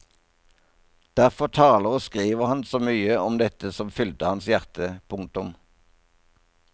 Derfor taler og skriver han så mye om dette som fylte hans hjerte. punktum